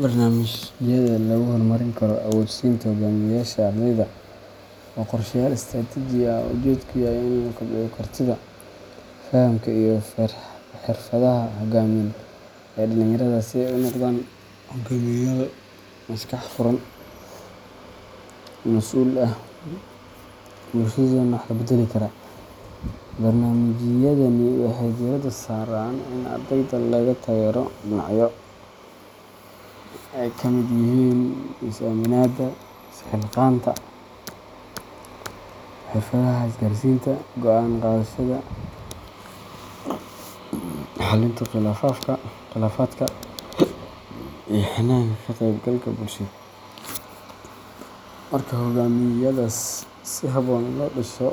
Barnaamijyada lagu horumarin karo awood-siinta hoggaamiyeyaasha ardayda waa qorshayaal istiraatiiji ah oo ujeedkoodu yahay in lagu kobciyo kartida, fahamka, iyo xirfadaha hoggaamineed ee dhalinyarada si ay u noqdaan hogaamiyeyaal maskax furan, masuul ah, bulshadoodana wax ka beddeli kara. Barnaamijyadani waxay diiradda saaraan in ardayda laga taageero dhinacyo ay ka mid yihiin is-aaminaadda, is-xilqaanka, xirfadaha isgaarsiinta, go’aan qaadashada, xalinta khilaafaadka, iyo hannaanka ka-qaybgalka bulsheed. Marka barnaamijyadaas si habboon loo dhiso